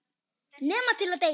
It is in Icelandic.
Nema til að deyja.